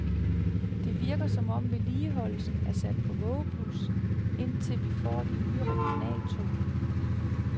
Det virker, som om vedligeholdelsen er sat på vågeblus, indtil vi får de nye regionaltog.